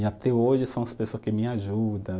E até hoje são as pessoa que me ajuda